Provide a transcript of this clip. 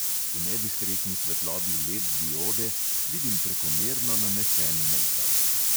V nediskretni svetlobi led diode vidim prekomerno nanesen mejkap.